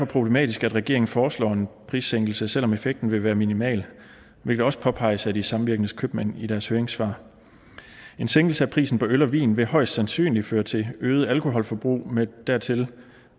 problematisk at regeringen foreslår en prissænkelse selv om effekten vil være minimal hvilket også påpeges af de samvirkende købmænd i deres høringssvar en sænkelse af prisen på øl og vin vil højst sandsynligt føre til et øget alkoholforbrug med dertil